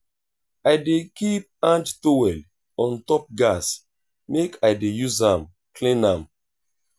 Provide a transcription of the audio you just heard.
i dey keep hand towel on top gas make i dey use am clean am.